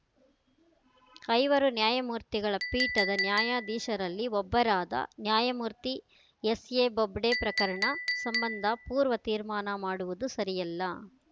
ಐವರು ನ್ಯಾಯಮೂರ್ತಿಗಳ ಪೀಠದ ನ್ಯಾಯಾಧೀಶರಲ್ಲಿ ಒಬ್ಬರಾದ ನ್ಯಾಯಮೂರ್ತಿ ಎಸ್ಎ ಬೊಬ್ಡೆ ಪ್ರಕರಣ ಸಂಬಂಧ ಪೂರ್ವ ತೀರ್ಮಾನ ಮಾಡುವುದು ಸರಿಯಲ್ಲ